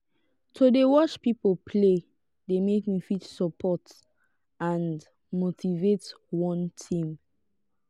to de watch pipo play de make me fit support and motivate one team